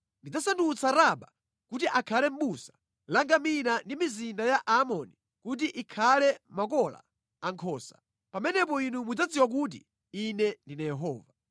Ndidzasandutsa Raba kuti akhale busa la ngamira ndi mizinda ya Aamoni kuti ikhale makola a nkhosa. Pamenepo inu mudzadziwa kuti Ine ndine Yehova.